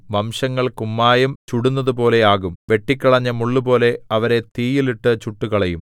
വംശങ്ങൾ കുമ്മായം ചുടുന്നതുപോലെ ആകും വെട്ടിക്കളഞ്ഞ മുള്ളുപോലെ അവരെ തീയിൽ ഇട്ടു ചുട്ടുകളയും